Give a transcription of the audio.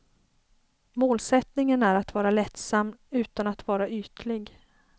Målsättningen är att vara lättsam utan att vara ytlig.